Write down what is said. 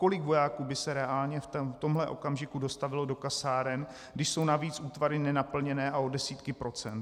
Kolik vojáků by se reálně v tomhle okamžiku dostavilo do kasáren, když jsou navíc útvary nenaplněné a o desítky procent?